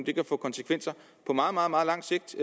det kan få konsekvenser på meget meget meget lang sigt